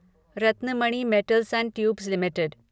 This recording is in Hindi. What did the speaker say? Ratnamani metals and tubes limited